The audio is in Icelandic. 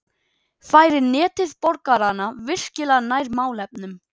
Færir Netið borgarana virkilega nær málefnunum?